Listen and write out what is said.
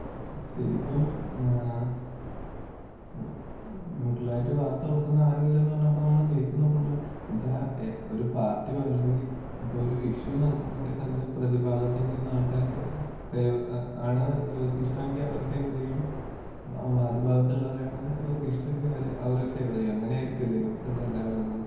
ശെരിക്കും ഏ ന്യൂട്രലായിട്ട് വാർത്ത കൊടുക്കുന്ന ആരുമില്ലെന്ന് പറഞ്ഞപ്പോ നമ്മള് കേക്കുന്ന ഫുള്ള് എന്ന് വെച്ച ഒരു പാർട്ടിയോ അല്ലെങ്കി ഇപ്പൊ ഒരു ഇഷ്യു നടക്കുമ്പഴത്തേക്ക് അതിന്റെ പ്രതിഭാഗത്ത് നിക്കുന്ന ആള് ക്കാര് ഫേവ ആ ആണ് ഇവർക്ക് ഇഷ്ട്ടങ്കി അവര് ഫേവറിയ്യും വാദി ഭാഗത്ത് ഇള്ളവരാണ് ഇവർക്ക് ഇഷ്ട്ടങ്കി അവരെ അവരെ ഫേവര് ചെയ്യും അങ്ങനെ ആയിരിക്കു അല്ലെ ന്യൂസുകളെല്ലാം വരുന്നത്?